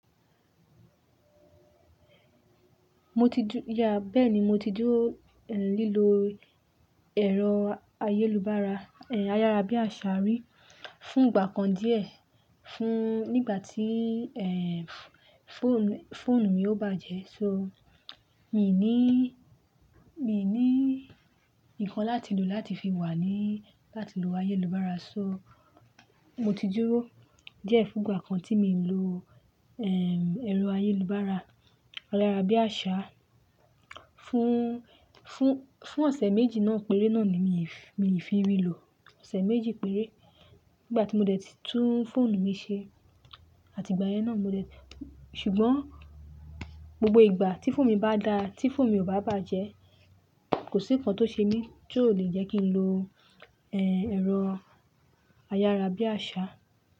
Mo ti dú-- yeah, bẹ́ẹ̀ni mo ti dúró, ehn, lílo ẹ̀rọ ayélubára, ehn, ayárá bí àṣá rí, fún ìgbà kan díẹ̀, fún-- nígbà tí, ehn, fóònù, fóònù mi ò bàjẹ́. So, mi ò ní, mi ò ní nǹkan láti lò láti fi wà ní, láti lo ayélubára. So, mo ti dúró díẹ̀ fún ìgbà kan tí mi ń lo, ehn, ẹ̀rọ ayélubára ayárá bí àṣá, fún, fún, fún ọ̀sẹ̀ méjì náà péré náà ni mi, mi ì fi rí lò. Ọ̀sẹ̀ méjì péré nígbà tí mo dẹ̀ tún fóònù mi ṣe. Àti ìgbà yẹn náà mo dẹ̀-- ṣùgbọ́n gbogbo ìgbà tí fóònù mi bá da, tí fóònù mi ò bá bàjẹ́, kò sí nǹkan tó ṣe mí tó le jẹ́ kí n lo, ehn, ẹ̀rọ ayárá bí àṣá.